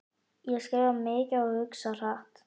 Ég skrifa mikið og hugsa hratt.